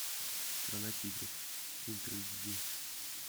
страна тигров ультра эйч ди